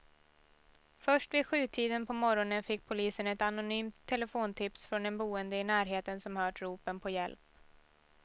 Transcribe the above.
Först vid sjutiden på morgonen fick polisen ett anonymt telefontips från en boende i närheten som hört ropen på hjälp.